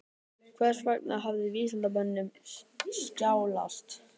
Hvers vegna hafði vísindamönnunum skjátlast?